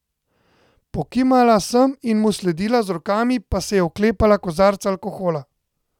Pokimala sem in mu sledila, z rokami pa se oklepala kozarca alkohola.